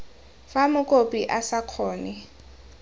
fa mokopi a sa kgone